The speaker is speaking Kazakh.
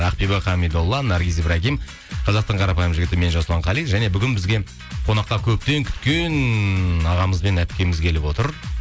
ақбибі хамидолла наргиз ибрагим қазақтың қарапайым жігіті мен жасұлан қали және бүгін бізге қонақта көптен күткен ағамыз бен әпкеміз келіп отыр